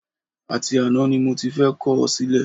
Àti àná ni mo ti fẹ́ kọ̀ ọ́ sílẹ̀